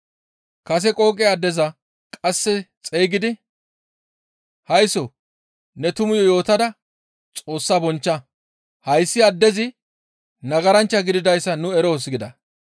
Kase qooqe addeza qasseka xeygidi, «Haysso ne tumayo yootada Xoossa bonchcha. Hayssi addezi nagaranchcha gididayssa nu eroos» gida.